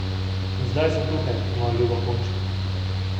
In zdaj sem tukaj, moja ljuba punčka.